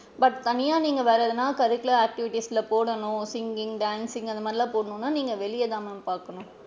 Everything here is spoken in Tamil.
But தனியா நீங்க வேற எதுனா curicular activities ல போடணும் singing, dancing அந்த மாறிலா போடணும்னா நீங்க வெளில தான் ma'am பாக்கணும்.